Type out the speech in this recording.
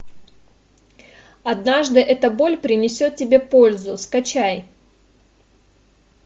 однажды эта боль принесет тебе пользу скачай